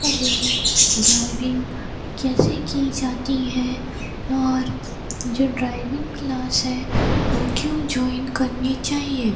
Driving कैसे की जाती है और जो ड्राइविंग क्लास है वो क्यों ज्वाइन करनी चाहिए?